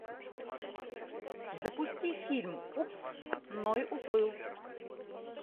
запусти фильм упс ной уплыл